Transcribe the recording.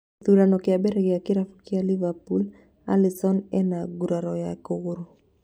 Gĩthurano kĩa mbere gĩa kĩrabu kĩa Liverpool, Alisson ena nguraro ya kũgũrũ